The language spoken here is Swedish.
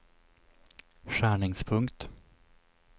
skärningspunkt